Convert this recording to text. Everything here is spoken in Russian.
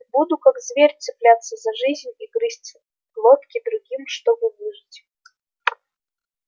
и буду как зверь цепляться за жизнь и грызть глотки другим чтобы выжить